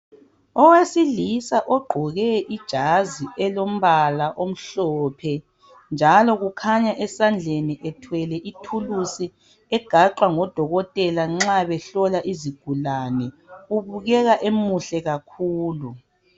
Owesilisa ogqoke ijazi elombala omhlophe njalo kukhanya esandleni ethwele ithulusi egaxwa ngodokotela nxa behlola izigulane ubukeka emuhle kakhulu.